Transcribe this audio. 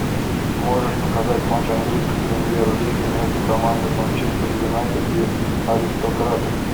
можешь показать матч английской премьер лиги между командами манчестер юнайтед и аристократы